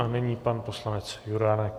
A nyní pan poslanec Juránek.